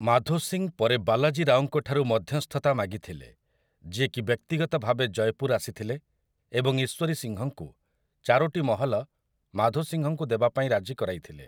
ମାଧୋ ସିଂ ପରେ ବାଲାଜୀ ରାଓଙ୍କ ଠାରୁ ମଧ୍ୟସ୍ଥତା ମାଗିଥିଲେ, ଯିଏକି ବ୍ୟକ୍ତିଗତ ଭାବେ ଜୟପୁର୍ ଆସିଥିଲେ ଏବଂ ଈଶ୍ୱରୀ ସିଂହଙ୍କୁ ଚାରୋଟି ମହଲ ମାଧୋ ସିଂହଙ୍କୁ ଦେବାପାଇଁ ରାଜି କରାଇଥିଲେ ।